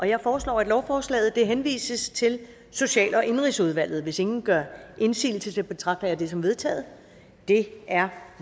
jeg foreslår at lovforslaget henvises til social og indenrigsudvalget hvis ingen gør indsigelse betragter jeg det som vedtaget det er